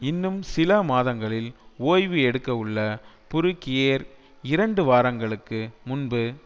இன்னும் சில மாதங்களில் ஓய்வு எடுக்க உள்ள புருகியேர் இரண்டு வாரங்களுக்கு முன்பு